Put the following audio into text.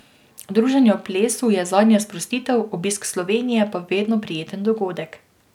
Druženje ob plesu je zanje sprostitev, obisk Slovenije pa vedno prijeten dogodek.